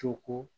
Co ko